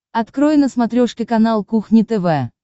открой на смотрешке канал кухня тв